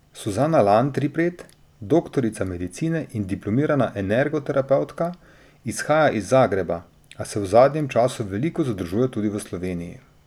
Suzana Landripet, doktorica medicine in diplomirana energoterapevtka, izhaja iz Zagreba, a se v zadnjem času veliko zadržuje tudi v Sloveniji.